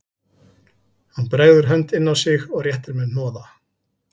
Hann bregður hönd inn á sig og réttir mér hnoða